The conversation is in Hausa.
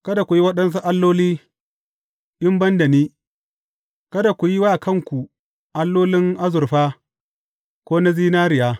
Kada ku yi waɗansu alloli in ban da ni, kada ku yi wa kanku allolin azurfa ko na zinariya.